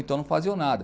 Então não faziam nada.